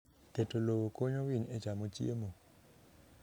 Keto lowo konyo winy e chamo chiemo.